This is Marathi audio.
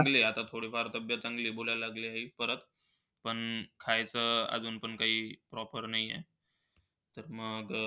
म्हणले आता थोडी फार तब्येत चांगली आहे. बोलायला लागली आहे आई परत. पण खायचं काही अजून proper नाही आहे. तर मग,